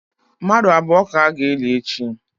Mmadụ abụọ ka a ga-eli echi.